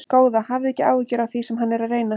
Góða, hafðu ekki áhyggjur af því sem hann er að reyna.